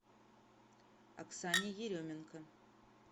оксане еременко